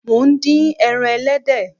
Mo ń dín ẹran ẹlẹ́dẹ̀